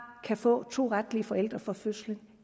kan få to retlige forældre fra fødslen